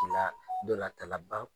Bila ndolan tana baw !